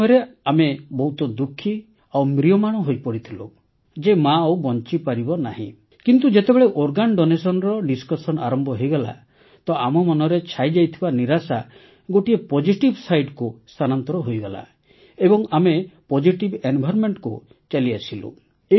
ସେ ସମୟରେ ଆମେ ବହୁତ ଦୁଃଖି ଓ ମ୍ରିୟମାଣ ହୋଇପଡ଼ିଥିଲୁ ଯେ ମା ଆଉ ବଂଚିପାରିବ ନାହିଁ କିନ୍ତୁ ଯେତେବେଳେ ଅଙ୍ଗଦାନର ଚର୍ଚ୍ଚା ଆରମ୍ଭ ହୋଇଗଲା ତ ଆମ ମନରେ ଛାଇଯାଇଥିବା ନିରାଶା ଗୋଟିଏ ପୋଜିଟିଭ୍ sideକୁ ସ୍ଥାନାନ୍ତର ହୋଇଗଲା ଏବଂ ଆମେ ପୋଜିଟିଭ୍ environmentକୁ ଚାଲିଆସିଲୁ